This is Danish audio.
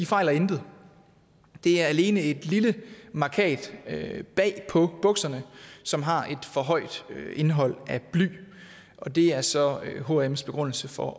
fejler intet det er alene et lille mærkat bag på bukserne som har et for højt indehold af bly det er så hms begrundelse for